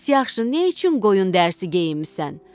Bəs yaxşı, nə üçün qoyun dərsi geyinmisən?